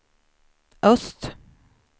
öst